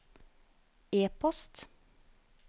e-post